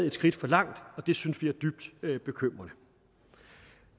et skridt for langt det synes vi er dybt bekymrende